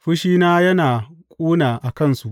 Fushina yana ƙuna a kansu.